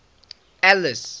alice